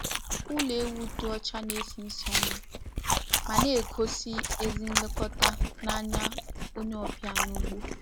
Ụlọ ewu dị ọcha na-esi ísì ọma ma na-egosi ezi nlekọta n'anya onye ọbịa n'ugbo.